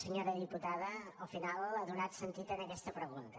senyora diputada al final ha donat sentit en aquesta pregunta